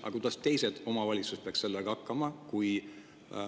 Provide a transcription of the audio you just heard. Aga kuidas teised omavalitsused –